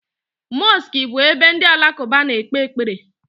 Mosiki bu ebe ndi alakuba na-ekpe ekpere